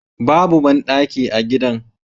Babu bandaki a gidan